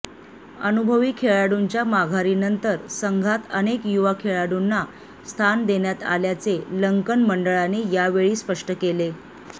अनुभवी खेळाडूंच्या माघारीनंतर संघात अनेक युवा खेळाडूंना स्थान देण्यात आल्याचे लंकन मंडळाने यावेळी स्पष्ट केले